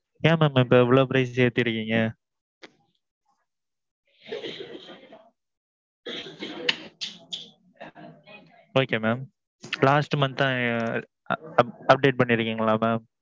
ஏன் mam இப்போ எவ்வளவு price ஏத்திருக்கீங்க? okay mam. last month தான் ~ update பன்னிருக்கிங்களா mam.